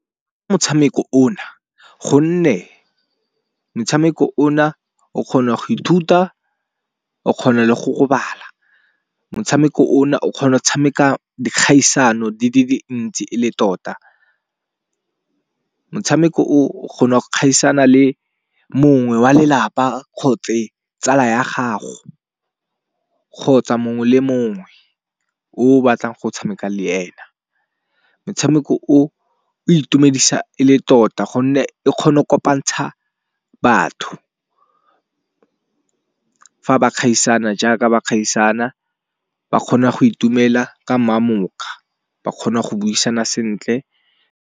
Motshameko o na gonne motshameko o na o kgona go ithuta o kgona le go bala. Motshameko o na o kgona go tshameka dikgaisano di le dintsi ele tota. Motshameko o o kgona go kgaisano le mongwe wa lelapa kgotse tsala ya gago, kgotsa mongwe le mongwe o batlang go tshameka le ena. Motshameko o o itumedisa e le tota gonne e kgona go kopantsha batho fa ba kgaisano jaaka ba kgaisana ba kgona go itumela ka mmamokga, ba kgona go buisana sentle.